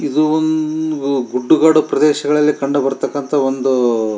ಇದು ಒಂದು ಗುಡ್ಡ ಗಾಡು ಪ್ರದೇಶದಲ್ಲಿ ಕಂಡು ಭಾರತಕ್ಕಂಥ ಒಂದು --